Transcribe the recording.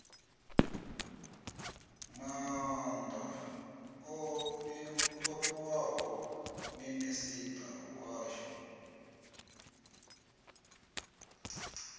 maanda o fhiwaho minisita washu